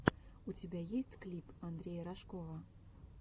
у тебя есть клип андрея рожкова